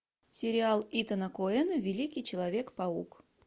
сериал итана коэна великий человек паук